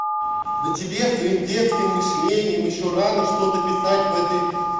да тебе с твоим детским мышлением ещё рано что-то писать в этой